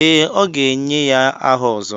Ee, a ga-enye ya aha Ozo.